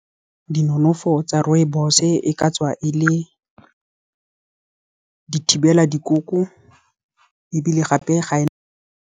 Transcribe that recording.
Dinonofo tsa rooibos-e ka tswa e le di thibela dikoko, ebile gape ga e.